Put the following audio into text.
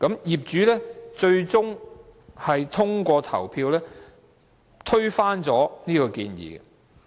業主最終通過投票，推翻了這項建議。